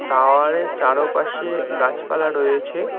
Tower -এর চারোপাশে গাছপালা রয়েছে।